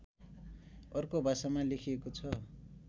अर्को भाषामा लेखिएको छ